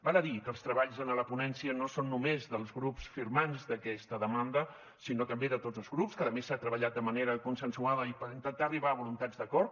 val a dir que els treballs en la ponència no són només dels grups firmants d’aquesta demanda sinó també de tots els grups que a més s’ha treballat de manera consensuada i per intentar arribar a voluntats d’acord